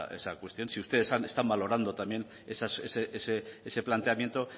esa cuestión si ustedes están valorando también ese planteamiento